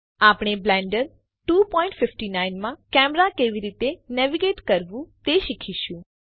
આપણે બ્લેન્ડર 259 માં કેમેરા કેવી રીતે નેવિગેટ કરવું તે શીખીશું